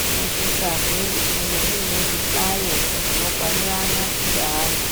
munosisazve kunge muine zvihlayo zvinokwanirana ngeana.